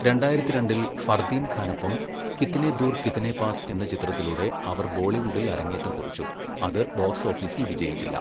രണ്ടായിരത്തി രണ്ടില് ഫർദീൻ ഖാനൊപ്പം 'കിത്നെ ദുർ കിത്നെ പാസ്' എന്ന ചിത്രത്തിലൂടെ അവർ ബോളിവുഡിൽ അരങ്ങേറ്റം കുറിച്ചു, അത് ബോക്സ് ഓഫീസിൽ വിജയിച്ചില്ല.